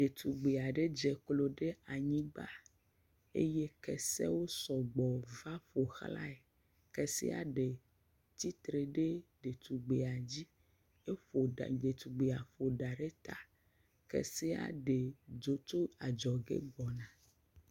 Ɖetugbui aɖe dze klo ɖe anyigba eye kesewo sɔgbɔ va ƒoxlae, kese ɖe tsitre ɖe ɖetugbui dzi, eƒo ɖetugbuia ƒo ɖa ɖe ta kesea ɖe dzo tso adzɔge gbɔna.